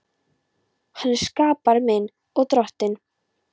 Hann er skapari minn og Drottinn.